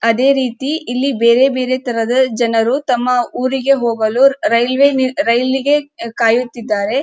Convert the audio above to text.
ಅದೇ ರೀತಿ ಇಲ್ಲಿ ಬೇರೆ ಬೇರೆ ತರದ ಜನರು ತಮ್ಮ ಊರಿಗೆ ಹೋಗಲು ರೈಲ್ವೆ ರೈಲಿ ಗೆ ಕಾಯುತ್ತಿದ್ದಾರೆ.